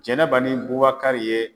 Jɛnɛba ni Bubakari ye